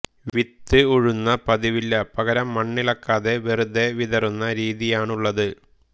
വിത്ത് ഉഴുന്ന പതിവില്ല പകരം മണ്ണിളക്കാത് വെറുതെ വിതറുന്ന രീതിയാണുള്ളത്